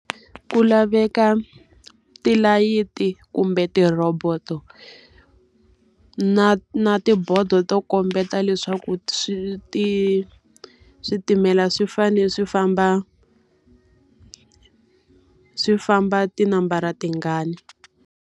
Ku laveka tilayiti kumbe ti-robot-o na na tibodo to kombeta leswaku switimela swi fanele swi famba swi famba tinambara tingani.